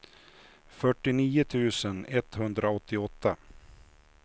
fyrtionio tusen etthundraåttioåtta